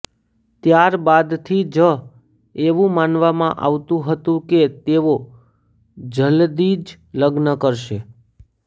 ત્યારબાદથી જ એવું માનવામાં આવતું હતું કે તેઓ જલદી જ લગ્ન કરશે